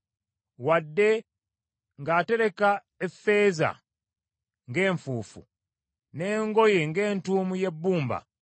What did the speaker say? Wadde ng’atereka effeeza ng’enfuufu, n’engoye ng’entuumo y’ebbumba,